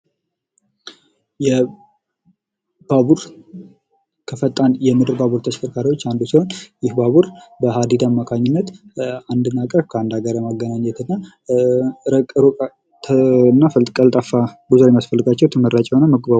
የባቡር ከፈጣን የምድር ባቡር ተሽከርካሪዎች አንዱ ሲሆን ይህ ባቡር በሀዲዲ አማካኝነት ከአንድ ሀገር ወደ ሌላ ሀገር ለማገናኘት እና እሩቅ እና ቀልጣፋ የሚያስፈልጋቸው ተመራጭ የሆነ የመጓጓዣ